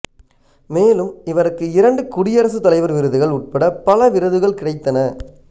மேலும் இவருக்கு இரண்டு குடியரசுத் தலைவர் விருதுகள் உட்பட பல விருதுகள் கிடைத்தன